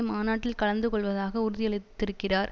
மாநாட்டில் கலந்து கொள்வதாக உறுதியளித்திருக்கிறார்